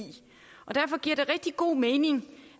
og derfor giver det rigtig god mening